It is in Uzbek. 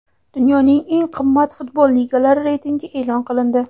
Dunyoning eng qimmat futbol ligalari reytingi e’lon qilindi.